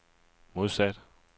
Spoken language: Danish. modsat